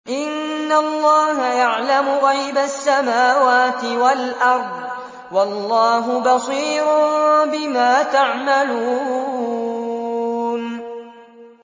إِنَّ اللَّهَ يَعْلَمُ غَيْبَ السَّمَاوَاتِ وَالْأَرْضِ ۚ وَاللَّهُ بَصِيرٌ بِمَا تَعْمَلُونَ